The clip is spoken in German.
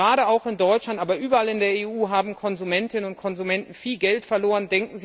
Gerade auch in Deutschland, aber auch überall sonst in der EU haben Konsumentinnen und Konsumenten viel Geld verloren.